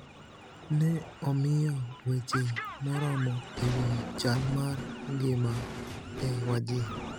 ne omiyo weche moromo e wi chal mar ngima e Wajir